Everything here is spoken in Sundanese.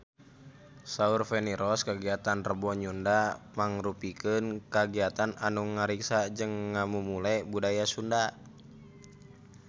Saur Feni Rose kagiatan Rebo Nyunda mangrupikeun kagiatan anu ngariksa jeung ngamumule budaya Sunda